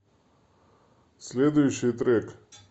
следующий трек